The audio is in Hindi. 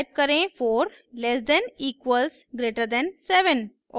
टाइप करें 4 less than equals greater than 7